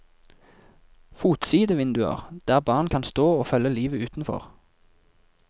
Fotside vinduer der barn kan stå og følge livet utenfor.